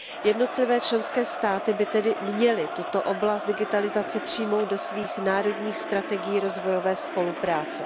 Jednotlivé členské státy by tedy měly tuto oblast digitalizace přijmout do svých národních strategií rozvojové spolupráce.